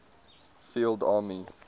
field armies